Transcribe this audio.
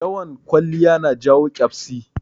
Yawan kwaliya na jawo ƙyabsi